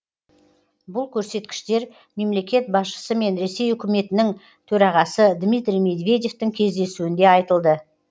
бұл көрсеткіштер мемлекет басшысы мен ресей үкіметінің төрағасы дмитрий медведевтің кездесуінде айтылды